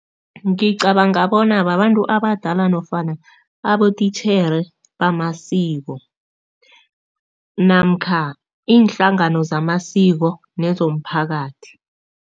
Ngicabanga bona babantu abadala nofana abotitjhere bamasiko namkha iinhlangano zamasiko nezomphakathi.